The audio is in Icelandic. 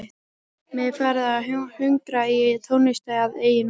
Mig er farið að hungra í tónlist að eigin vali.